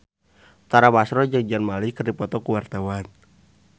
Tara Basro jeung Zayn Malik keur dipoto ku wartawan